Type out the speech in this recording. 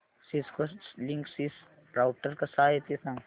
Cisco Linksys router कसा आहे ते सांग